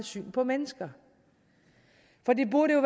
syn på mennesker for det burde jo